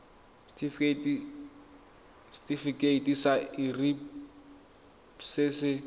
setifikeiting sa irp se se